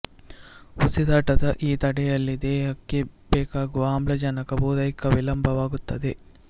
ಉಸಿರಾಟದ ಈ ತಡೆಯಲ್ಲಿ ದೇಹಕ್ಕೆ ಬೇಕಾಗುವ ಆಮ್ಲಜನಕ ಪೂರೈಕೆ ವಿಳಂಬವಾಗುತ್ತದೆ